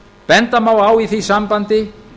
benda má á í því sambandi